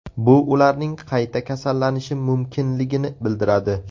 Bu ularning qayta kasallanishi mumkinligini bildiradi.